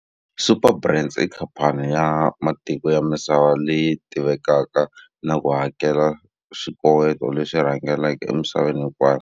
Superbrands i khamphani ya matiko ya misava leyi tivekaka na ku hakela swikoweto leswi rhangelaka emisaveni hinkwayo.